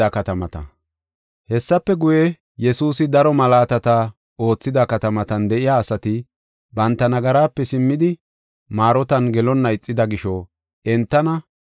Hessafe guye, Yesuusi daro malaatata oothida katamatan de7iya asati banta nagaraape simmidi maarotan gelonna ixida gisho entana,